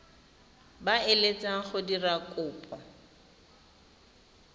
ba eletsang go dira kopo